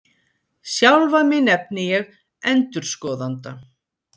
Sjálfan mig nefni ég ENDURSKOÐANDA